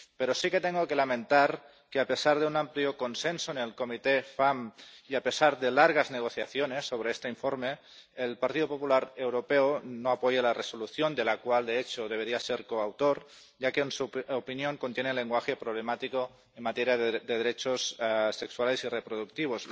Pero sí que tengo que lamentar que, a pesar de un amplio consenso en la Comisión FEMM, y a pesar de largas negociaciones sobre este informe, el Partido Popular Europeo no apoye la Resolución —de la cual, de hecho, debería ser coautor—, ya que, en su opinión, contiene lenguaje problemático en materia de derechos sexuales y reproductivos.